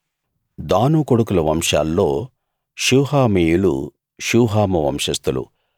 దాను కొడుకుల వంశాల్లో షూహామీయులు షూహాము వంశస్థులు